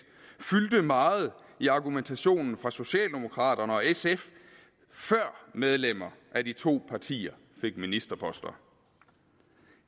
fyldte meget i argumentationen fra socialdemokraterne og sf før medlemmer af de to partier fik ministerposter